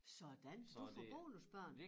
Sådan du får bonusbørn